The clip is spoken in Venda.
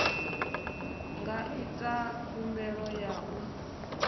nga ita khumbelo ya u